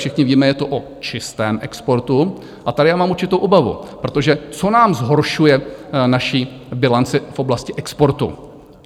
Všichni víme, je to o čistém exportu, a tady já mám určitou obavu, protože co nám zhoršuje naši bilanci v oblasti exportu?